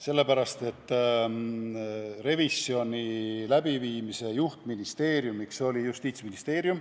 Sellepärast, et revisjoni läbiviimise juhtministeeriumiks oli Justiitsministeerium.